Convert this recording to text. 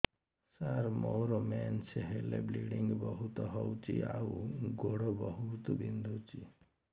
ସାର ମୋର ମେନ୍ସେସ ହେଲେ ବ୍ଲିଡ଼ିଙ୍ଗ ବହୁତ ହଉଚି ଆଉ ଗୋଡ ବହୁତ ବିନ୍ଧୁଚି